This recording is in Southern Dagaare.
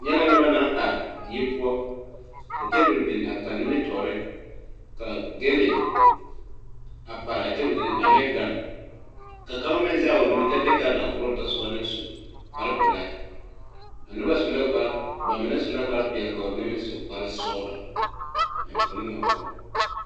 Nyɛ lɛ nobɔ naŋ are die poɔ ka tabol bin a kaŋ nimitooreŋ ka gyille a paraa tabol zu ane gan ka kaŋ meŋ zege o nu kyɛ de gan a koroo tɔsoba naŋ su kparepilaa noba su la kpare ba mine su la peɛɛli ka ba mine su kparesɔglɔ a enfuone ŋa poɔ.